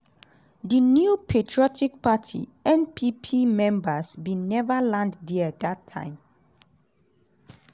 di new patriotic party (npp) members bin never land dia dat time.